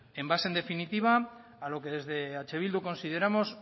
en base en definitiva a lo que desde eh bildu consideramos